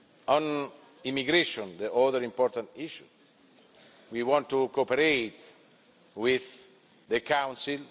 On immigration, the other important issue, we want to cooperate with the Council